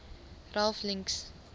ralph links